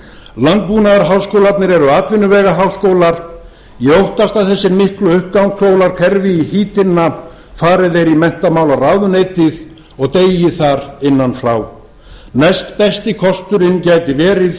landbúnaðarháskólarnir eru atvinnuvegaháskólar ég óttast að þessir miklu uppgangsskólar hverfi í hítina fari þeir í menntamálaráðuneytið og deyi þar innan frá næstbesti kosturinn gæti verið